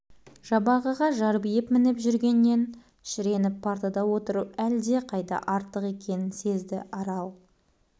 жабағыға жарбиып мініп жүргеннен шіреніп партада отыру әлдеқайда артық екенін сезді арал